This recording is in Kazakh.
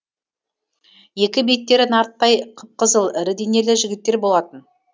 екі беттері нарттай қып қызыл ірі денелі жігіттер болатын